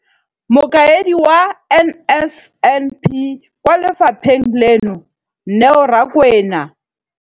Mokaedi wa NSNP kwa lefapheng leno, Neo Rakwena,